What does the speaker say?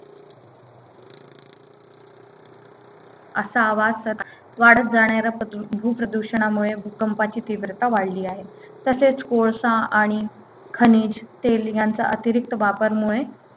असा आवाज स वाढत जाणाऱ्या प्रदू भू प्रदूषणामुळे भूकंपाची तीव्रता वाढली आहे तसेच कोळसा आणि खनिज तेल यांचा अतिरिक्त वापर मुळे